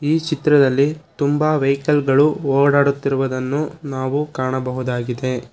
ಈ ಚಿತ್ರದಲ್ಲಿ ತುಂಬ ವೆಹಿಕಲ್ ಗಳು ಓಡಾಡುತ್ತಿರುವುದನ್ನು ನಾವು ಕಾಣಬಹುದಾಗಿದೆ.